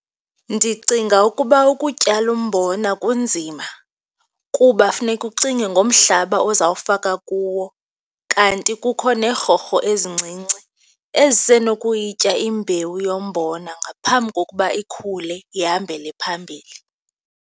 Ndicinga ukuba ukutyala umbona kunzima kuba funeka ucinge ngomhlaba uzawufaka kuwo kanti kukho neerhorho ezincinci ezisenokuyitya imbewu yombona ngaphambi kokuba ikhule, ihambele phambili.